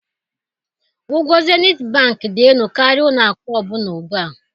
Ụgwọ Zenith Bank dị elu karịa ụlọ akụ ọ bụla ugbu a